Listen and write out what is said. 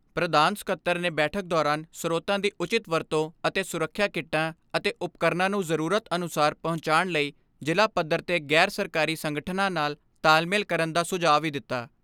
ਪ੍ਰਧਾਨ ਸਕੱਤਰ ਨੇ ਬੈਠਕ ਦੌਰਾਨ ਸਰੋਤਾਂ ਦੀ ਉਚਿਤ ਵਰਤੋਂ ਅਤੇ ਸੁਰੱਖਿਆ ਕਿੱਟਾਂ ਅਤੇ ਉਪਕਰਨਾਂ ਨੂੰ ਜ਼ਰੂਰਤ ਅਨੁਸਾਰ ਪਹੁੰਚਾਣ ਲਈ ਜ਼ਿਲ੍ਹਾ ਪੱਧਰ 'ਤੇ ਗ਼ੈਰ ਸਰਕਾਰੀ ਸੰਗਠਨਾ ਨਾਲ ਤਾਲਮੇਲ ਕਰਨ ਦਾ ਸੁਝਾਅ ਵੀ ਦਿੱਤਾ।